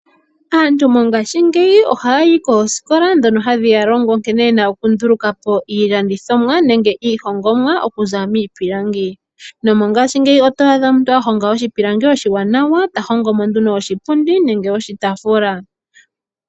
Aantu mongashingeyi ohayayi koosikola ndhono hadhi ya longo nkene yena okundulukapo iilandithomwa, nenge iihongomwa miipilangi. Mongashingeyi oto adha omuntu a honga oshipilangi oshiwanawa, tahongo mo nduno oshipundi nenge oshitaafula.